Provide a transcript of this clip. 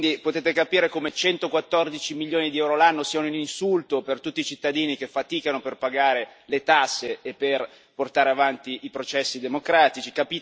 Quindi potete capire come 114 milioni di euro l'anno siano un insulto per tutti i cittadini che faticano per pagare le tasse per portare avanti i processi democratici